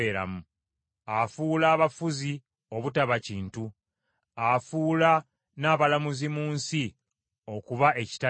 Afuula abafuzi obutaba kintu, afuula n’abalamuzi mu nsi okuba ekitaliimu.